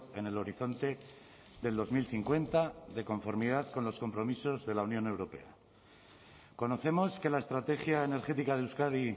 en el horizonte del dos mil cincuenta de conformidad con los compromisos de la unión europea conocemos que la estrategia energética de euskadi